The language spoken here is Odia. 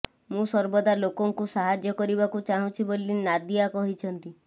ମୁଁ ସର୍ବଦା ଲୋକଙ୍କୁ ସାହାଯ୍ୟ କରିବାକୁ ଚାହୁଁଛି ବୋଲି ନାଦିଆ କହିଛନ୍ତି